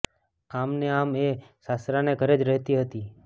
આમ ને આમ એ સાસરાને ઘરે જ રહેતી હતી